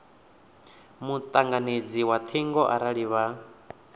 mutanganedzi wa thingo arali vha